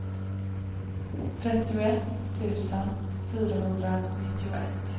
trettioett tusen fyrahundranittioett